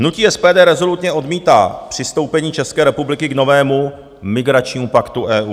Hnutí SPD rezolutně odmítá přistoupení České republiky k novému migračnímu paktu EU.